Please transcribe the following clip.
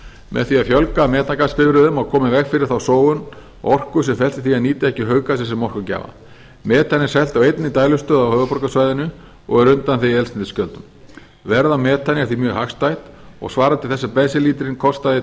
með því að fjölga metangasbifreiðum og koma í veg fyrir þá sóun á orku sem felst í því að nota ekki hauggasið sem orkugjafa metan er selt á einni dælustöð á höfuðborgarsvæðinu og er undanþegið eldsneytisgjöldum verð á metani er því mjög hagstætt og svarar til þess að bensínlítrinn kostaði